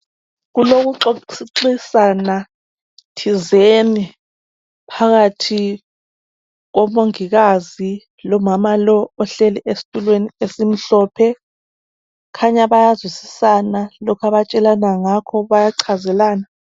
Kulokuxoxisana thizeni phakathi kukamongikazi lomama lo ohlezi esitulweni esimhlophe. Kukhanya bayazwisisana lokhu abatshelana ngakho bayachazelana.